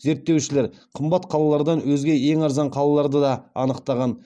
зерттеушілер қымбат қалалардан өзге ең арзан қалаларды да анықтаған